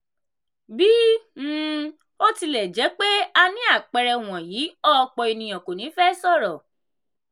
bí um ó ó tilẹ̀ jẹ́ pé a ní àpẹẹrẹ wọ̀nyí òpọ̀ ènìyàn kò ní fẹ sọ̀rọ̀.